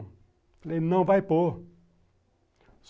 Eu falei, não vai pôr.